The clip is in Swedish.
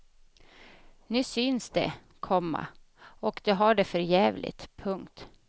Nu syns de, komma och de har det för jävligt. punkt